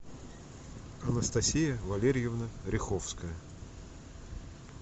анастасия валерьевна ряховская